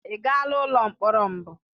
Ị gaala ụlọ mkpọrọ mbụ?